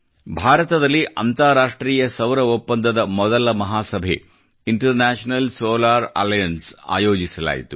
ಭಾರತದಲ್ಲಿ ಅಂತಾರಾಷ್ಟ್ರೀಯ ಸೌರ ಒಪ್ಪಂದದ ಮೊದಲ ಮಹಾಸಭೆ ಇಂಟರ್ನ್ಯಾ ಶನಲ್ ಸೋಲಾರ್ ಅಲೈನ್ಸ್ ಆಯೋಜಿಸಲಾಯಿತು